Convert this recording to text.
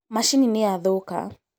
Macini nĩyathũka